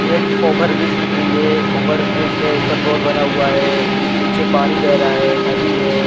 एक over bridge दिख रही है ओवर ब्रिज में ऊपर रोड बना हुआ है नीचे पानी बह रहा है नदी है।